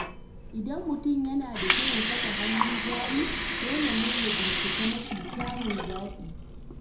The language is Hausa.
Idan mutum yana da shirin saka hannun jari, dole ne ya bincika mafi kyawun zaɓi.